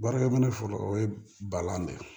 Baarakɛ minɛ fɔlɔ o ye balan de ye